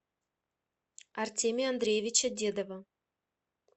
артемия андреевича дедова